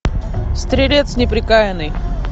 стрелец неприкаянный